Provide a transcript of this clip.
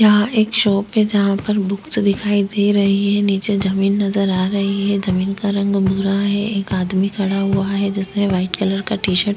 यहाँ एक शॉप है जहाँ पर बुक्स दिखाई दे रही है नीचे जमीन नजर आ रही है जमीन का रंग भूरा है एक आदमी खड़ा हुआ है जिसने व्हाइट कलर का टी -शर्ट --